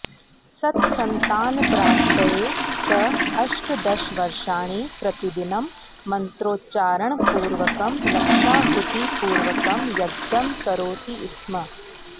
सत्सन्तानप्राप्तये सः अष्टदशवर्षाणि प्रतिदिनं मन्त्रोच्चारणपूर्वकं लक्षाहुतिपूर्वकं यज्ञं करोति स्म